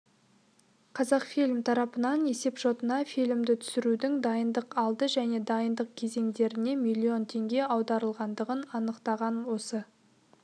қазақфильм тарапынан есепшотына фильмді түсірудің дайындық алды және дайындық кезеңдеріне миллион теңге аударылғандығын анықтаған осы